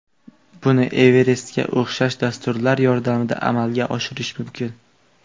Buni Everest’ga o‘xshash dasturlar yordamida amalga oshirish mumkin.